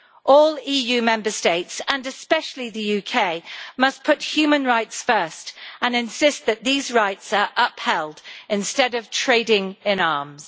All EU Member States, and especially the UK, must put human rights first and insist that these rights are upheld, instead of trading in arms.